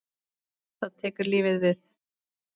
Þá tekur lífið við?